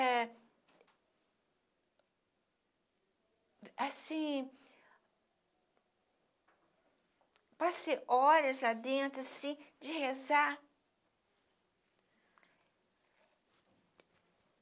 É... Assim... Passei horas lá dentro, assim, de rezar.